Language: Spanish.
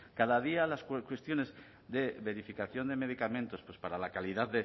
cada día las cuestiones de verificación de medicamentos pues para la calidad